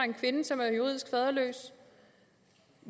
en kvinde som er juridisk faderløs